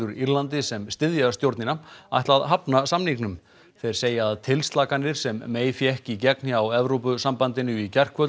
Írlandi sem styðja stjórnina ætla að hafna samningnum þeir segja að tilslakanir sem fékk í gegn hjá Evrópusambandinu í gærkvöld